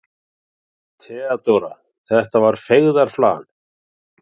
THEODÓRA: Þetta var feigðarflan.